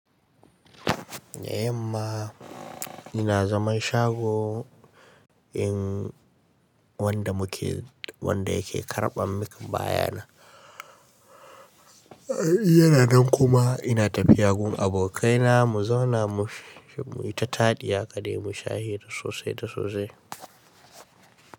Eh ma ina zaman shago in wanda muke wanda yake karɓam min bayanan. Yana nan kuma ina tafiya gun abokaina mu zauna mu yi ta taɗi haka dai mu sha hira sosai da sosai.